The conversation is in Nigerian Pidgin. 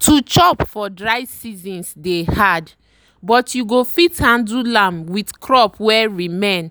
to chop for dry seasons dey hard but you go fit handle am with crop wey remain